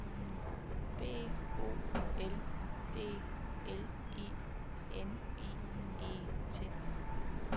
B O L D L I N I E N